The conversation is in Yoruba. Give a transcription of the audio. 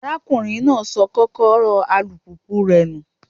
Arákùnrin náà sọ Kọ́kọ́rọ́ alùpùpù rẹ̀ nù.